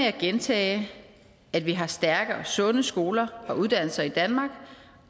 at gentage at vi har stærke og sunde skoler og uddannelser i danmark